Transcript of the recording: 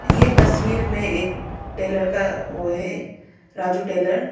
ये तस्वीर में एक टेलर का ओ है राजू टेलर --